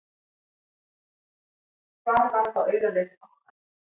Hvar var þá auraleysi bankanna!